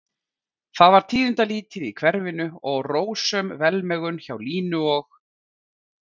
Það var tíðindalítið í hverfinu og rósöm velmegun hjá Línu og